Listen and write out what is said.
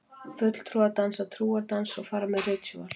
Fulltrúar dansa trúardans og fara með ritúöl.